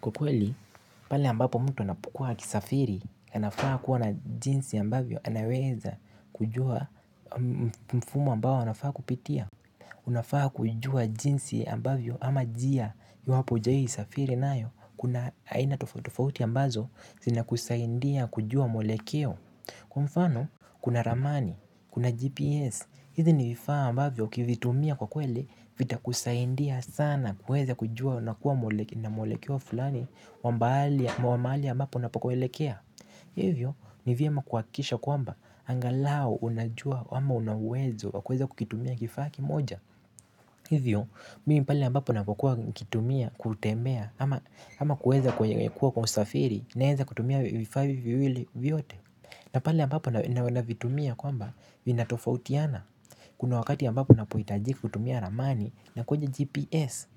Kwa kweli pale ambapo mtu anapokuwa akisafiri, anafaa kuwa na jinsi ambavyo anaweza kujua mfumo ambao anafaa kupitia. Unafaa kujua jinsi ambavyo ama njia iwapo hujawahi safiri nayo, kuna aina tofauti tofauti ambazo zinakusaidia kujua mwelekeo. Kwa mfano, kuna ramani, kuna GPS, hizi ni vifaa ambavyo ukivitumia kwa kweli vitakusaidia sana kuweza kujua na kuwa na mwelekeo fulani wa mahali ambapo unapokoelekea. Hivyo, ni vyema kuhakikisha kwamba angalau unajua ama una uwezo wa kuweza kukitumia kifaa kimoja. Hivyo, mimi pale ambapo ninapokua nikitumia kutembea ama kuwa kwa usafiri naweza kutumia vifaa hivi viwili vyote. Na pale ambapo navitumia kwamba vinatofautiana. Kuna wakati ambapo unapohitajika kutumia ramani na kwenye GPS.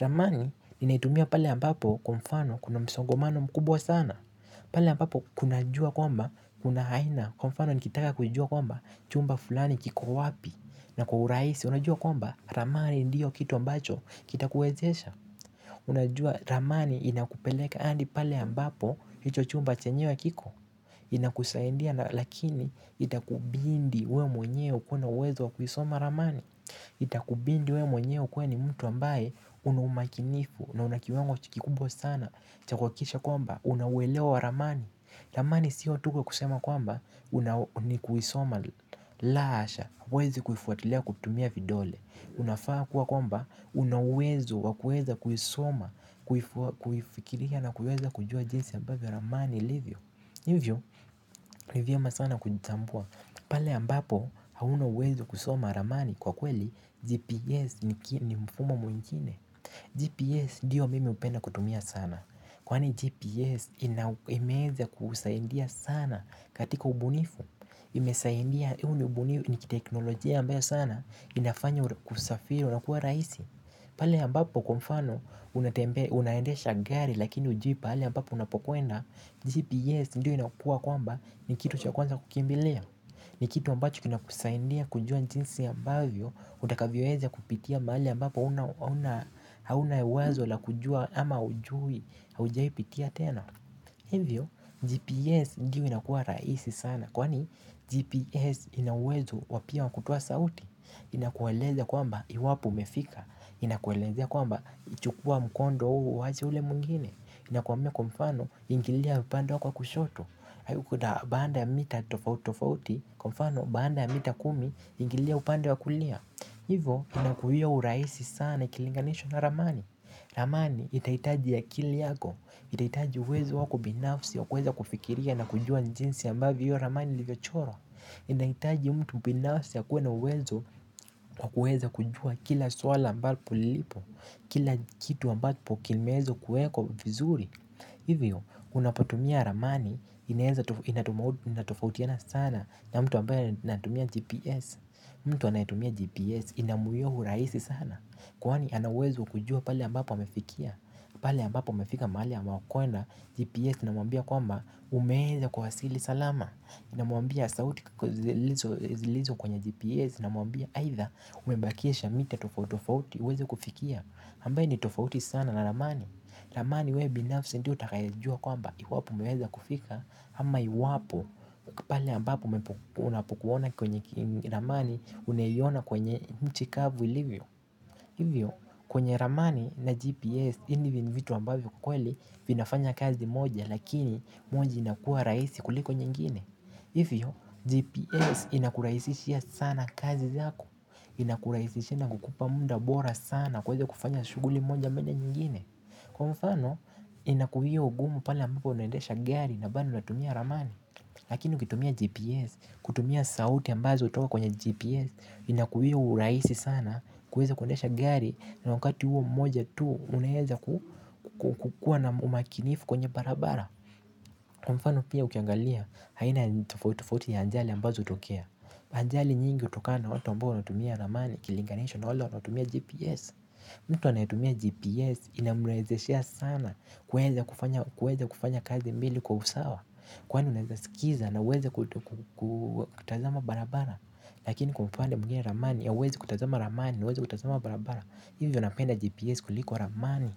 Ramani ninaitumia pale ambapo kwa mfano kuna msongamano mkubwa sana. Pale ambapo kunajua kwamba kuna aina kwa mfano nikitaka kujua kwamba chumba fulani kiko wapi na kwa urahisi unajua kwamba ramani ndiyo kitu ambacho kitakuwezesha unajua ramani inakupeleka hadi pale ambapo hicho chumba chenyewe kiko. Inakusaidia lakini itakubidi wewe mwenyewe kuwa na uwezo wa kuisoma ramani. Itakubidi wewe mwenyewe ukuwe ni mtu ambaye una umakinifu na una kiwango kikubwa sana cha kuhakikisha kwamba una ueleo wa ramani ramani siyo tu kusema kwamba ni kuisoma la asha huwezi kuifuatilia kutumia vidole unafaa kuwa kwamba una uwezo wa kuweza kuisoma kuifikiria na kuweza kujua jinsi ambavyo ramani ilivyo hivyo ni vyema sana kujitambua pale ambapo hauna uwezo wa kusoma ramani kwa kweli GPS ni mfumo mwingine. GPS ndiyo mimi hupenda kutumia sana, kwani GPS imeweza kusaidia sana katika ubunifu, imesaidia huu ni teknolojia ambayo sana inafanya usafiri unakuwa rahisi. Pale ambapo kwa mfano unaendesha gari lakini hujui pale ambapo unapokwenda GPS ndiyo inakuwa kwamba ni kitu cha kwanza kukimbilia. Ni kitu ambacho kinakusaidia kujua jinsi ambavyo utakavyoweza kupitia mahali ambapo hauna hauna uwezo la kujua ama hujui haujawahi pitia tena hivyo GPS ndiyo inakuwa rahisi sana kwani GPS ina uwezo wa pia wa kutoa sauti inakueleza kwamba iwapo umefika inakuelezea kwamba chukua mkondo huu uache ule mwingine inakuambia kwa mfano ingilia upande wako wa kushoto baada ya mita tofauti tofauti kwa mfano baada ya mita kumi ingilia upande wa kulia. Hivyo inakuwia urahisi sana ikilinganishwa na ramani ramani itahitaji akili yako itahitaji uwezo wako binafsi wa kuweza kufikiria na kujua jinsi ambavyo hiyo ramani ilivyochorwa. Inahitaji mtu binafsi akuwe na uwezo wa kuweza kujua kila swala ambapo lipo. Kila kitu ambapo kimeweza kuwekwa vizuri. Hivyo unapotumia ramani inatofautiana sana na mtu ambaye anatumia GPS. Mtu anayetumia GPS inamuwia urahisi sana kwani ana uwezo wa kujua pale ambapo amefikia pale ambapo amefika mahali amekwenda GPS inamwambia kwamba umeweza kuwasili salama inamwambia sauti zilizo kwenye GPS zinamwambia aidha umebakisha mita tofauti tofauti uweze kufikia ambaye ni tofauti sana na ramani ramani wewe binafsi ndiye utakayejua kwamba iwapo umeweza kufika ama iwapo pale ambapo unapokuona kwenye ramani unaiona kwenye nchi kavu ilivyo. Hivyo kwenye ramani na GPS ni vitu ambavyo kweli vinafanya kazi moja lakini moja inakuwa rahisi kuliko nyingine hivyo GPS inakurahisishia sana kazi zako. Inakurahisishia na kukupa muda bora sana kuweza kufanya shughuli moja ama nyingine kwa mfano inakuwia ugumu pale ambapo unaendesha gari na bado unatumia ramani. Lakini ukitumia GPS, kutumia sauti ambazo hutoka kwenye GPS inakuwia urahisi sana kuweza kuendesha gari na wakati huo mmoja tu unaweza kukuwa na umakinifu kwenye barabara kwa mfano pia ukiangalia aina tofauti tofauti ya ajali ambazo hutokea. Ajali nyingi hutokana na watu ambao wanatumia ramani ikilinganishwa na wale watu wanatumia GPS. Mtu anayetumia GPS inamrahisishia sana kuweza kufanya kazi mbili kwa usawa kwani unaweza sikiza na uweze kutazama barabara lakini kwa upande mwingine ramani hauwezi kutazama ramani na uweze kutazama barabara hivyo napenda GPS kuliko ramani.